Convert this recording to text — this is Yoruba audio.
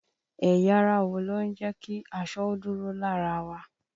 Ẹ̀yà ara wo ló ń jẹ ki aṣọ ó dúró lára wa?